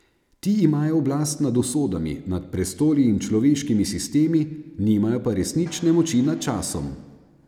Ti imajo oblast nad usodami, nad prestoli in človeškimi sistemi, nimajo pa resnične moči nad časom.